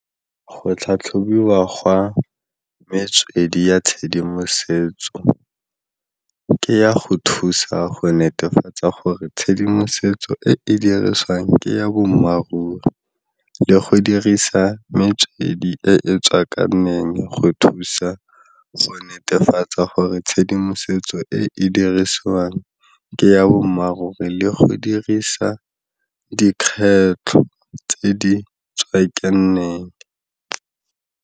Go tlhatlhobiwa gwa metswedi ya tshedimosetso ke ya go thusa go netefatsa gore tshedimosetso e e dirisiwang ke ya bommaaruri le go dirisa metswedi e e tswakaneng go thusa go netefatsa gore tshedimosetso e e dirisiwang ke ya bommaaruri le go dirisa dikgetlho tse di tswakaneng.